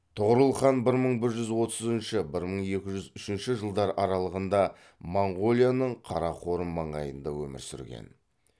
тұғырыл хан бір мың бір жүз отызыншы бір мың екі жүз үшінші жылдар аралығында моңғолияның қарақорым маңайында өмір сүрген